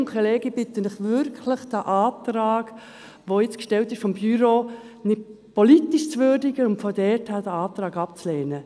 Kolleginnen und Kollegen, ich bitte Sie wirklich, den vom Büro gestellten Antrag politisch zu würdigen und ihn infolgedessen abzulehnen.